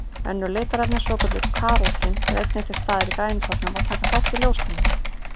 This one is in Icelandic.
Önnur litarefni, svokölluð karótín, eru einnig til staðar í grænukornum og taka þátt í ljóstillífun.